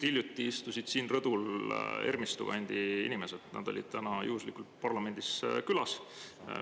Siin rõdul just istusid Ermistu kandi inimesed, nad olid täna juhuslikult parlamendis külas.